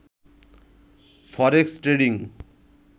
forex trading